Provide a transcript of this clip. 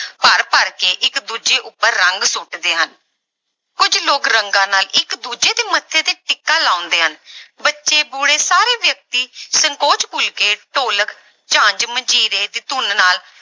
ਭਰ ਭਰ ਕੇ ਇੱਕ ਦੂਜੇ ਉੱਪਰ ਰੰਗ ਸੁੱਟਦੇ ਹਨ, ਕੁੱਝ ਲੋਕ ਰੰਗਾਂ ਨਾਲ ਇੱਕ ਦੂਜੇ ਦੇ ਮੱਥੇ ਤੇ ਟਿੱਕਾ ਲਾਉਂਦੇ ਹਨ ਬੱਚੇ ਬੂੜੇ ਸਾਰੇ ਵਿਅਕਤੀ ਸੰਕੋਚ ਭੁੱਲ ਕੇ ਢੋਲਕ, ਝੰਜ, ਮੰਜੀਰੇ ਦੀ ਧੁਨ ਨਾਲ